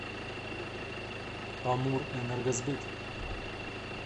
амурэнергосбыт